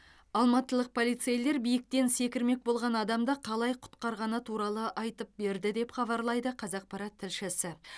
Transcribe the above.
алматылық полицейлер биіктен секірмек болған адамды қалай құтқарғаны туралы айтып берді деп хабарлайды қазақпарат тілшісі